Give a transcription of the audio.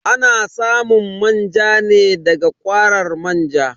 Ana samun manja ne da ga kwarar manja.